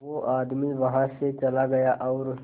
वो आदमी वहां से चला गया और